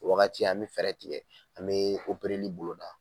Wagati an mi fɛɛrɛ tiɲɛ, an mi o boloda